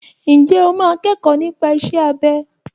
Ǹjẹ́ o máa kẹ́kọ̀ọ́ nípa iṣẹ́ abẹ?